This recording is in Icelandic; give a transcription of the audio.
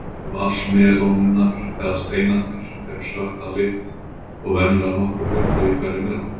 Fræ vatnsmelónunnar, eða steinarnir, eru svört að lit og venjulega nokkur hundruð í hverri melónu.